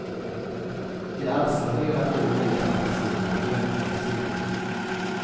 De alstrar hela tiden nya fantasier och drömlika scener.